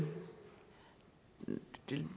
det